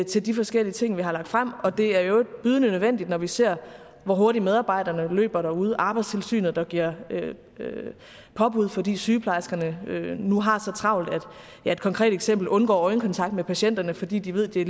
til de forskellige ting vi har lagt frem og det er i øvrigt bydende nødvendigt når vi ser hvor hurtigt medarbejderne løber derude arbejdstilsynet giver påbud fordi sygeplejerskerne nu har så travlt et konkret eksempel undgår øjenkontakt med patienterne fordi de ved at de